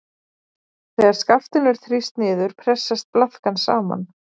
Þegar skaftinu er þrýst niður pressast blaðkan saman.